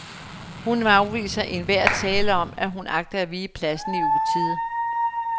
Hun afviser enhver tale om, at hun agter at vige pladsen i utide.